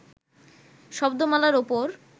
শব্দমালার উপর